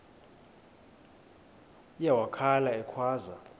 uye wakhala ekhwaza